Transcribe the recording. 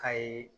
Kayi